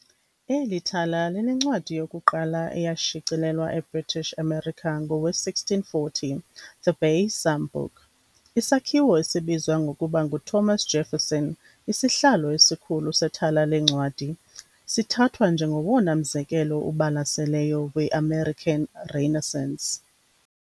Eli thala linencwadi yokuqala eyashicilelwa eBritish America ngowe-1640, "The Bay Psalm Book". Isakhiwo esibizwa ngokuba nguThomas Jefferson, isihlalo esikhulu sethala leencwadi, sithathwa njengowona mzekelo ubalaseleyo we-American Renaissance.